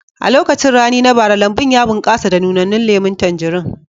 A lokacin rani na bara, lambun ya bunƙasa da nunannan lemun tanjarin